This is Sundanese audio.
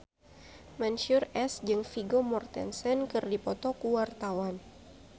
Mansyur S jeung Vigo Mortensen keur dipoto ku wartawan